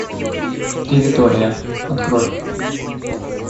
территория открой